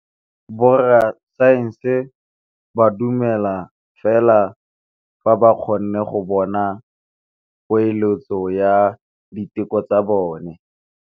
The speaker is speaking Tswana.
Borra saense ba dumela fela fa ba kgonne go bona poeletsô ya diteko tsa bone.